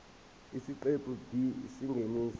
isiqephu b isingeniso